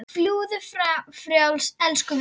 Fljúgðu frjáls, elsku vinur.